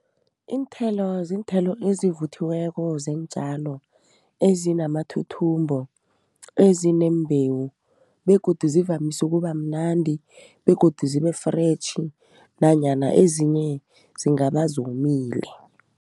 Iinthelo, ziinthelo evuthiweko zeentjalo, ezinamathuthumbo, ezineembewu begodu zivamsu ukubamnandi begodu zibe-fresh nanyana ezinye zingaba zomile.